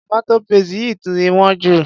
Tomato paste yìí ti wón ju.